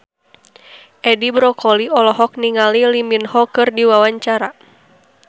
Edi Brokoli olohok ningali Lee Min Ho keur diwawancara